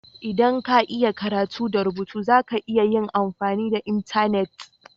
ldan ka iya karatu da rubutu, za ka iya yin amfani da intenet.